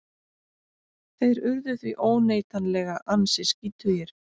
Þeir urðu því óneitanlega ansi skítugir.